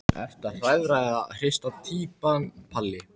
Ertu hrærða eða hrista týpan Palli?